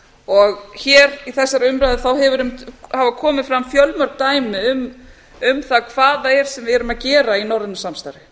því hér í þessari umræðu hafa einmitt komið fram fjölmörg dæmi um það hvað það er sem við erum að gera í norrænu samstarfi